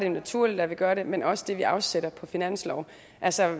jo naturligt at vi gør det men også det vi afsætter på finansloven altså